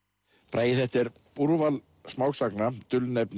bragi þetta er úrval smásagna